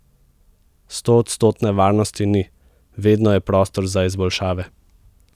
Stoodstotne varnosti ni, vedno je prostor za izboljšave.